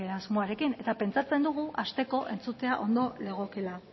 asmoarekin pentsatzen dugu hasteko entzutea ondo legokeela